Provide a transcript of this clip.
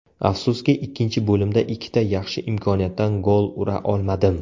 Afsuski, ikkinchi bo‘limda ikkita yaxshi imkoniyatdan gol ura olmadim.